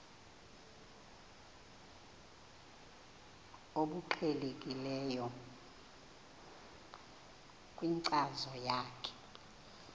obuqhelekileyo kwinkcazo yakho